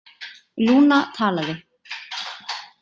Lúna talaði: